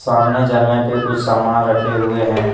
सामने जलने पे कुछ सामान रखे हुए हैं।